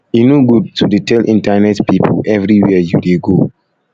e no good to dey tell internet pipu everywhere you dey go